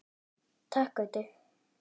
Takk Gaui.